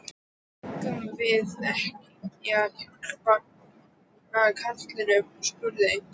Eigum við ekki að hjálpa karlinum? spurði einhver.